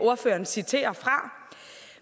ordføreren citerer fra